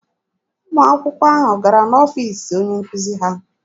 Ụmụ akwụkwọ ahụ gara n'ọfiisi onye nkuzi ha.